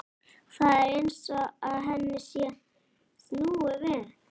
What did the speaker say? Það er eins og henni sé snúið við.